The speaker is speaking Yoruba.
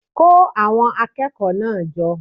Kó àwon akékòó náà jo